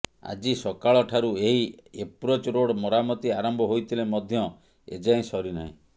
ଆଜି ସକାଳଠାରୁ ଏହି ଏପ୍ରୋଚ୍ ରୋଡ୍ ମରାମତି ଆରମ୍ଭ ହୋଇଥିଲେ ମଧ୍ୟ ଏଯାଏଁ ସରିନାହିଁ